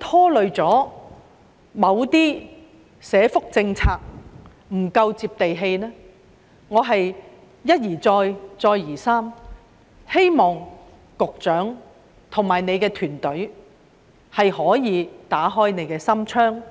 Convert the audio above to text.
拖累某些社福政策不夠"接地氣"。我一而再，再而三希望局長及其團隊可以打開心窗。